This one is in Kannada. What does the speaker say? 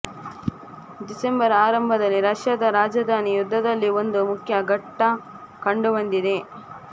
ಡಿಸೆಂಬರ್ ಆರಂಭದಲಿ ರಷ್ಯಾದ ರಾಜಧಾನಿ ಯುದ್ಧದಲ್ಲಿ ಒಂದು ಮುಖ್ಯ ಘಟ್ಟ ಕಂಡುಬಂದಿದೆ